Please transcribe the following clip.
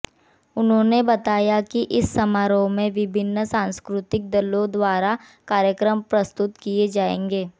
उन्होंने बताया कि इस समारोह में विभिन्न सांस्कृतिक दलों द्वारा कार्यक्रम प्रस्तुत किए जाएंगे